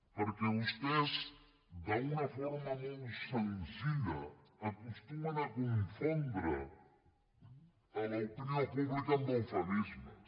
perquè vostès d’una forma molt senzilla acostumen a confondre l’opinió pública amb eufemismes